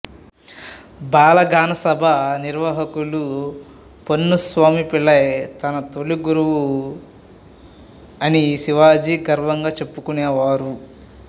బాలగానసభ నిర్వాహకులు పొన్నుసామి పిళ్ళై తన తొలి గురువు అని శివాజీ గర్వంగా చెప్పుకునేవారు